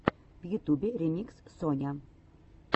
в ютьюбе ремикс соня